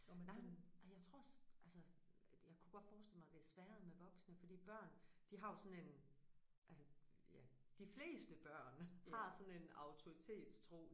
Nej men og jeg tror altså det jeg kunne godt forestille mig det er sværere med voksne fordi børn de har jo sådan en altså ja de fleste børn har sådan en autoritetstro